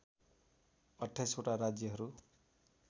२८ वटा राज्यहरू